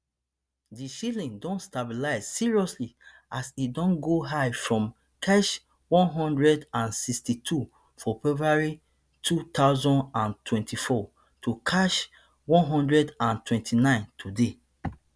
di shilling don stabilize seriously as e don go high from ksh one hundred and sixty-two for february two thousand and twenty-four to ksh one hundred and twenty-nine today